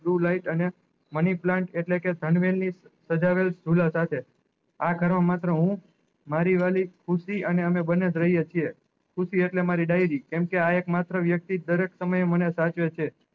blue light એટલે money plant એટલે કે ધન્વેર ની જ્હુલા સાથે આ જાણવા માત્ર હું મારી વાલી ખુસી અને અમે બન્ને જ રહીએ છે ખુસી એટલે મારી diary કેમ કે આ એક માત્ર વ્યક્તિ દરેક સમય મને સાચવે છે